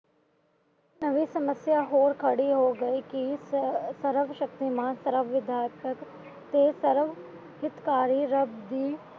ਨਵੀਂ ਸਮੱਸਿਆ ਹੋਰ ਖੜੀ ਹੋ ਗਈ ਕਿ ਸਰਵ ਸ਼ਕਤੀਮਾਨ ਸਰਵ ਵਿਧਯਾਰਥਕ ਤੇ ਸਰਵ ਚੁਟਕਾਰੀ ਰੱਬ ਦੀ